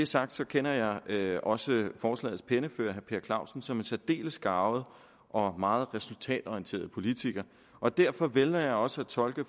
sagt kender jeg også forslagets pennefører herre per clausen som en særdeles garvet og meget resultatorienteret politiker derfor vælger jeg også at tolke